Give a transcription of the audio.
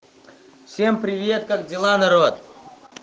всем привет как дела народ